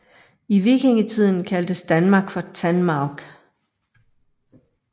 I vikingetiden kaldtes Danmark for Tanmaurk